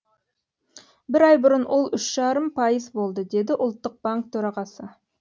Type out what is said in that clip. бір ай бұрын ол үш жарым пайыз болды деді ұлттық банк төрағасы